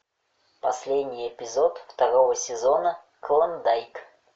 последний эпизод второго сезона клондайк